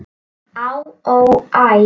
Á, ó, æ